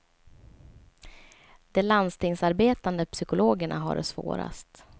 De landstingsarbetande psykologerna har det svårast.